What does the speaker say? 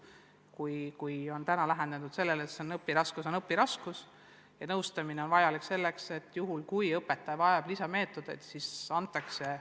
Kas lähenemine peaks jääma endiseks, et õpiraskus on õpiraskus ja kui nõustamine on vajalik selleks, et õpetaja peab kasutusele võtma uusi meetodeid, siis antakse nõustamistoetust?